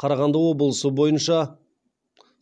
қарағанды облысы бойынша